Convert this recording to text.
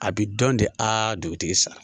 A bi dɔn de a dugutigi sa